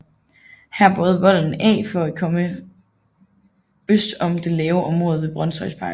Her bøjede volden af for at komme øst om det lave område ved Brønshøjparken